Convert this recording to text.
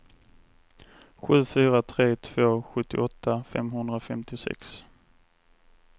sju fyra tre två sjuttioåtta femhundrafemtiosex